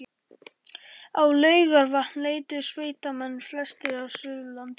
Á Laugarvatn leituðu sveitamenn, flestir af Suðurlandi